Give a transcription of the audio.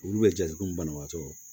Olu bɛ jatugu banabatɔ